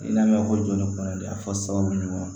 I n'a mɛn ko joli kɔnɔnda fɔ sababu ɲuman